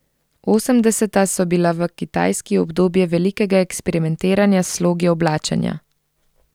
Osemdeseta so bila v Kitajski obdobje velikega eksperimentiranja s slogi oblačenja.